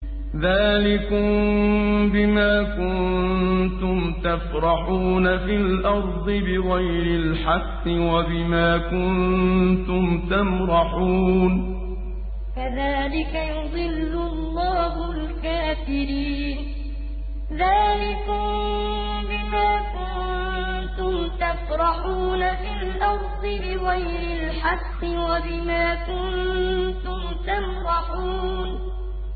ذَٰلِكُم بِمَا كُنتُمْ تَفْرَحُونَ فِي الْأَرْضِ بِغَيْرِ الْحَقِّ وَبِمَا كُنتُمْ تَمْرَحُونَ ذَٰلِكُم بِمَا كُنتُمْ تَفْرَحُونَ فِي الْأَرْضِ بِغَيْرِ الْحَقِّ وَبِمَا كُنتُمْ تَمْرَحُونَ